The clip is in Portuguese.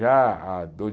Já há dois